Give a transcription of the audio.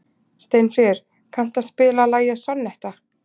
Steinfríður, kanntu að spila lagið „Sonnetta“?